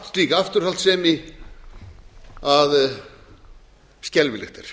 slík afturhaldssemi að skelfilegt er